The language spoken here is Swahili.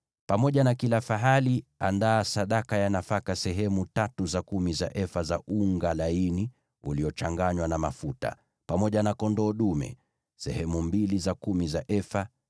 Pamoja na kila fahali, andaa sadaka ya nafaka sehemu tatu za kumi za efa za unga laini uliochanganywa na mafuta; pamoja na kondoo dume, andaa sehemu mbili za kumi za efa;